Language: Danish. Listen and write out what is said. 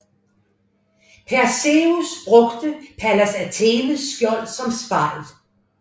Perseus brugte Pallas Athenes skjold som spejl